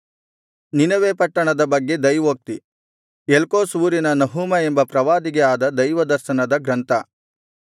ನಿನವೆ ಪಟ್ಟಣದ ಬಗ್ಗೆ ದೈವೋಕ್ತಿ ಎಲ್ಕೋಷ್ ಊರಿನ ನಹೂಮ ಎಂಬ ಪ್ರವಾದಿಗೆ ಆದ ದೈವದರ್ಶನದ ಗ್ರಂಥ